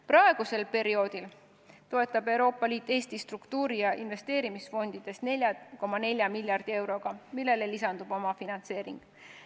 Praegusel perioodil toetab Euroopa Liit Eestit struktuuri- ja investeerimisfondidest 4,4 miljardi euroga, millele lisandub omafinantseering.